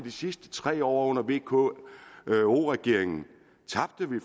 sidste tre år under vko regeringen